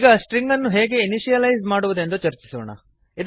ಈಗ ಸ್ಟ್ರಿಂಗ್ ಅನ್ನು ಹೇಗೆ ಇನಿಶಿಯಲೈಸ್ ಮಾಡುವುದೆಂದು ಚರ್ಚಿಸೋಣ